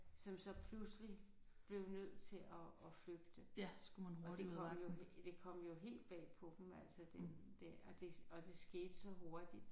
Som så pludselig blev nødt til at at flygte. Og det kom jo det kom jo helt bag på dem altså det det og det og det skete så hurtigt